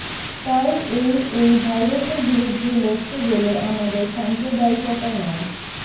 তাই এই এই ভাইরাসের বিরুদ্ধে লড়তে গেলে আমাদের সাম্প্রদায়িকতা নয়